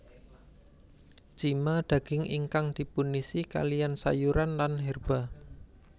Cima daging ingkang dipunisi kaliyan sayuran lan herba